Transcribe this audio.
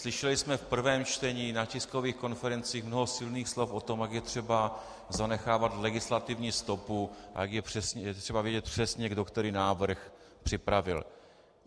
Slyšeli jsme v prvém čtení, na tiskových konferencích mnoho silných slov o tom, jak je třeba zanechávat legislativní stopu a jak je třeba vědět přesně, kdo který návrh připravil.